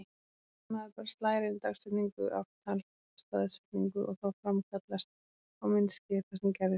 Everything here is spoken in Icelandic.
Maður bara slær inn dagsetningu- ártal-staðsetningu og þá framkallast á myndskeiði það sem gerðist.